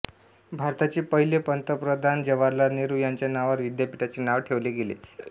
भारताचे पहिले पंतप्रधान जवाहरलाल नेहरू यांच्या नावावर विद्यापीठचे नाव ठेवले गेले